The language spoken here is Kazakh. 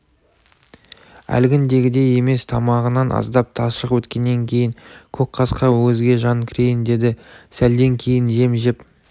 әлгіндегідей емес тамағынан аздап талшық өткеннен кейін көк қасқа өгізге жан кірейін деді сәлден кейін жем жеп